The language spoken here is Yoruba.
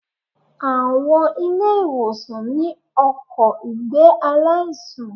Àwọn ilé ìwòsàn ní ọkò ìgbé aláìsàn